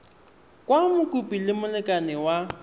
kwa mokopi le molekane wa